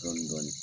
Dɔɔnin dɔɔnin